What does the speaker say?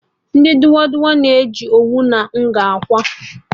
Ndị dụa dụa na-eji owu na nga akwa